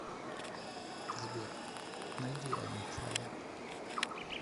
сбер найди аймфао